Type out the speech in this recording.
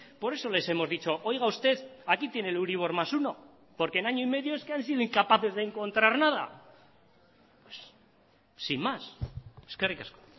por eso les hemos dicho oiga usted aquí tiene el euribor más uno porque en año y medio es que han sido incapaces de encontrar nada pues sin más eskerrik asko